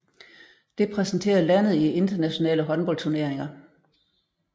Det repræsenterer landet i internationale håndboldturneringer